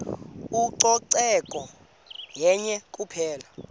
ucoceko yenye kuphela